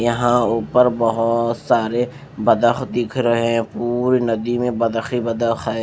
यहाँ ऊपर बोहोत सारे बदख दिख रहे हैं पूरी नदी में बदख ही बदख है।